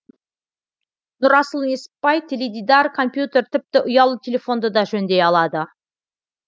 нұрасыл несіпбай теледидар компьютер тіпті ұялы телефонды да жөндей алады